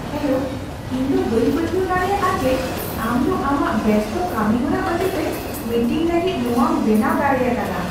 Hello! ᱤᱧ ᱫᱚ ᱵᱟᱹᱧ ᱯᱟᱹᱛᱭᱟᱹᱣ ᱫᱟᱲᱮᱭᱟᱜᱼᱟ ᱡᱮ ᱟᱢ ᱫᱚ ᱟᱢᱟᱜ ᱵᱮᱥᱛᱚ ᱠᱟᱹᱢᱤᱦᱚᱨᱟ ᱚᱡᱮᱛᱮ ᱢᱤᱴᱤᱝ ᱞᱟᱹᱜᱤᱫ ᱱᱚᱣᱟᱢ ᱵᱮᱱᱟᱣ ᱫᱟᱲᱮᱭᱟᱠᱟᱫᱟ !